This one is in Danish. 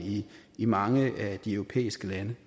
i mange af de europæiske lande